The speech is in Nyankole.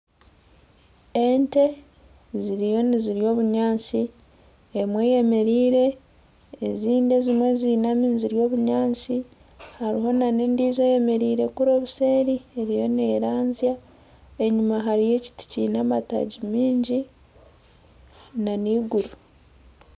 Ente ziriyo nizirya obunyaasi, emwe eyemereire ezindi ziinami nizirya obunyaasi. Hariho n'endiijo eyemereire kuri obuseeri eriyo neeranzya. Enyima hariyo ekiti kiine amataagi maingi n'eiguru.